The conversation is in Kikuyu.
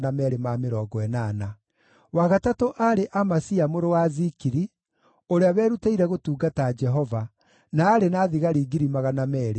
wa gatatũ aarĩ Amasia mũrũ wa Zikiri, ũrĩa werutĩire gũtungata Jehova, na aarĩ na thigari 200,000.